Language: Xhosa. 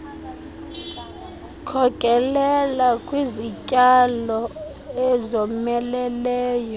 wkhokelela kwizityalo ezomeleleyo